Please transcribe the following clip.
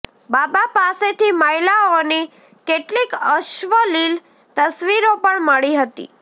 બાબા પાસેથી મહિલાઓની કેટલીક અશ્લીલ તસવીરો પણ મળી હતી